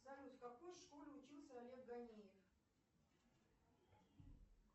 салют в какой школе учился олег ганиев